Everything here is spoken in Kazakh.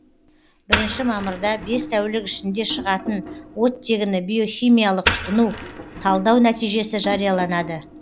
бірінші мамырда бес тәулік ішінде шығатын оттегіні биохимиялық тұтыну талдау нәтижесі жарияланады